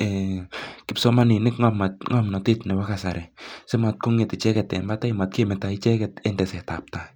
ee kipsomaninik ng'omnatet nepo kasari simotkong'et icheget en patai matkemeto icheget en tesetaptai.